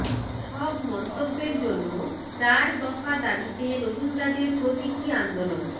সব মন্তব্যের জন্য চার দফা দাবিতে রোহিঙ্গাদের প্রতীকী আন্দোলন